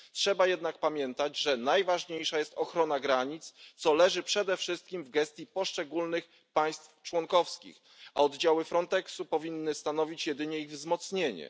Trzeba jednak pamiętać, że najważniejsza jest ochrona granic, co leży przede wszystkim w gestii poszczególnych państw członkowskich, a oddziały Frontexu powinny stanowić jedynie ich wzmocnienie.